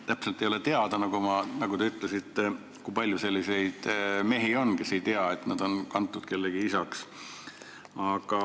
Täpselt ei ole teada, nagu te ütlesite, kui palju on selliseid mehi, kes ei tea, et nad on sinna kantud kellegi isana.